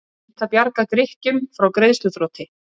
Reynt að bjarga Grikkjum frá greiðsluþroti